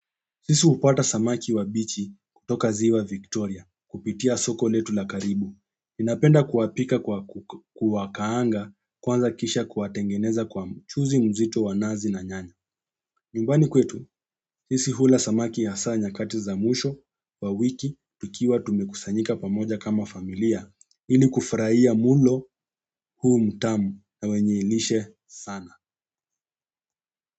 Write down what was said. Sisi hupata samaki wa bichi kutoka ziwa Victoria kupitia soko letu la karibu. Ninapenda kuwapika kwa kuwakaanga kwanza kisha kuwatengeneza kwa mchuzi mzito wa nazi na nyanya. Nyumbani kwetu sisi hula samaki hasa nyakati za mwisho wa wiki ikiwa tumekusanyika pamoja kama familia ili kufurahia mlo huu mtamu na wenye lishe sana.